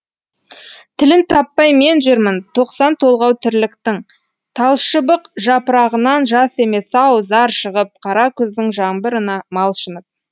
тілін таппай мен жүрмін тоқсан толғау тірліктің талшыбық жапырағынан жас емес ау зар шығып қара күздің жаңбырына малшынып